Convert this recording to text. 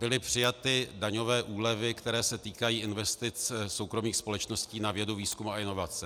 Byly přijaty daňové úlevy, které se týkají investic soukromých společností na vědu, výzkum a inovace.